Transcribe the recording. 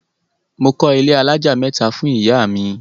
Mo kọ́ ilé alájà mẹ́ta fún ìyá mi.